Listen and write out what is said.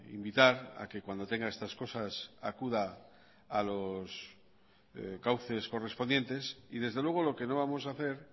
invitar a que cuando tenga estas cosas acuda a los cauces correspondientes y desde luego lo que no vamos a hacer